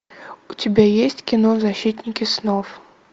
у тебя есть кино защитники снов